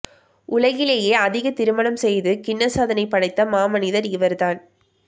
உலகிலேயே அதிக திருமணம் செய்து கின்னஸ் சாதனை படைத்த மாமனிதர் இவர் தான்